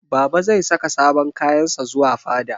Baba zai saka sabon kayan sa zuwa fada.